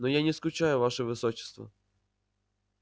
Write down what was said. но я не скучаю ваше высочество